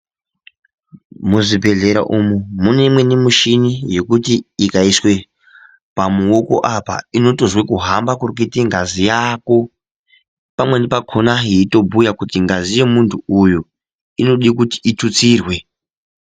Muzvibhedhlera umu mune imweni mishini yokuti ikatoiswa pamuoko apa inotozwa kuhamba kunoite ngazi yako pamweni pakona yeitohjuya kuti ngazi yemuntu uyu inode kuti itutsirwe.